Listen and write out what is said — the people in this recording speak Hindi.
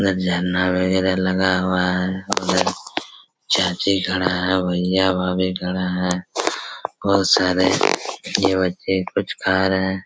यहाँ झरना वगेरा लगा हुआ है उधर चाची खड़ा है भईया-भाभी खड़ा है बहोत सारे ये बच्चे कुछ खा रहे है।